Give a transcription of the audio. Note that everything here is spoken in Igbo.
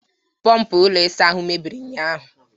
Pọọmpụ ụlọ isa ahụ anyị mebiri ụnyaahụ.